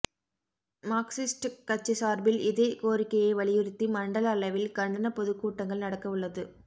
Marxist கட்சி சார்பில் இதே கோரிக்கையை வலியுறுத்தி மண்டல அளவில் கண்டன பொதுக்கூட்டங்கள் நடக்க உள்ளது